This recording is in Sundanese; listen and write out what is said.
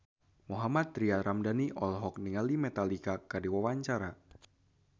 Mohammad Tria Ramadhani olohok ningali Metallica keur diwawancara